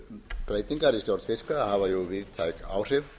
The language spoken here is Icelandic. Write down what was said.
minnstu breytingar í stjórn fiskveiða hafa víðtæk áhrif